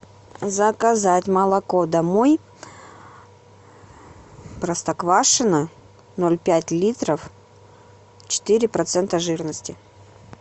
заказать молоко домой простоквашино ноль пять литров четыре процента жирности